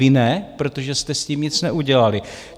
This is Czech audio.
Vy ne, protože jste s tím nic neudělali.